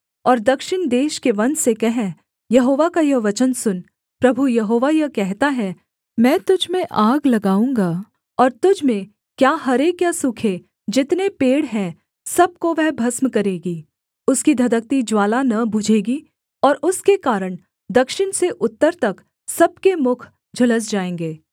और दक्षिण देश के वन से कह यहोवा का यह वचन सुन प्रभु यहोवा यह कहता है मैं तुझ में आग लगाऊँगा और तुझ में क्या हरे क्या सूखे जितने पेड़ हैं सब को वह भस्म करेगी उसकी धधकती ज्वाला न बुझेगी और उसके कारण दक्षिण से उत्तर तक सब के मुख झुलस जाएँगे